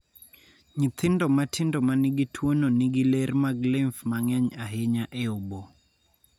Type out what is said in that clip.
Nyithindo matindo ma nigi tuono nigi ler mag lymph ma ng�eny ahinya e obo.